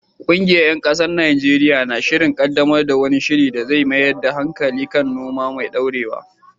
Ƙungiyar ‘yan kasuwa a Najeriya na shirin kaddamar da wani shiri da zai mayar da hankali kan noma mai dorewa.